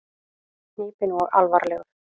Hnípinn og alvarlegur.